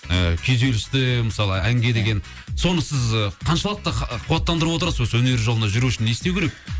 ы күйзелісті мысалы әнге деген соны сіз қаншалықты қуаттандырып отырасыз осы өнер жолында жүру үшін не істеу керек